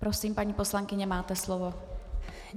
Prosím, paní poslankyně, máte slovo.